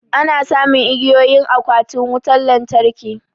Ana samun igiyoyi a akwatin lantarki.